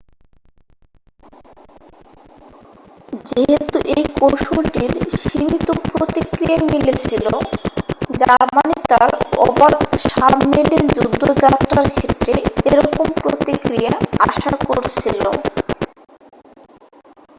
যেহেতু এই কৌশলটির সীমিত প্রতিক্রিয়া মিলেছিল জার্মানি তার অবাধ সাবমেরিন যুদ্ধযাত্রার ক্ষেত্রে এরকম প্রতিক্রিয়া আশা করেছিল